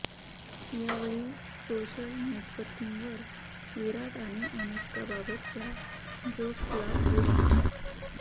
यावेळी सोशल नेटवर्किंगवर विराट आणि अनुष्काबाबतच्या जोक्सचा पूर आला